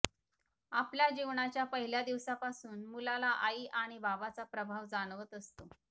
आपल्या जीवनाच्या पहिल्या दिवसापासून मुलाला आई आणि बाबाचा प्रभाव जाणवत असतो